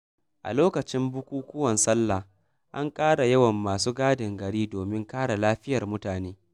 A lokacin bukukuwan sallah, an ƙara yawan masu gadin gari domin kare lafiyar mutane.